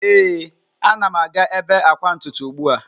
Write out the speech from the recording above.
Ee, a na m aga ebe akwa ntutu ugbu a.